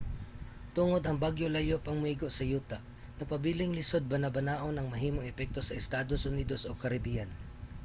tungod ang bagyo layo pang moigo sa yuta nagpabiling lisod banabanaon ang mahimong epekto sa estados unidos o caribbean